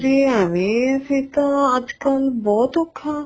ਜ਼ੇ ਐਵੇ ਫ਼ੇਰ ਤਾਂ ਅੱਜ ਕੱਲ ਬਹੁਤ ਔਖਾ